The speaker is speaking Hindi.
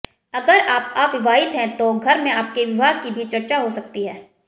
अगर आप अविवाहित हैं तो घर में आपके विवाह की भी चर्चा हो सकती है